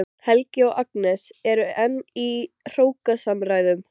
Helgi og Agnes eru enn í hrókasamræðum.